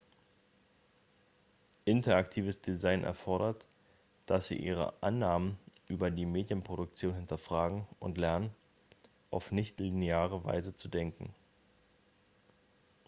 interaktives design erfordert dass sie ihre annahmen über die medienproduktion hinterfragen und lernen auf nicht-lineare weise zu denken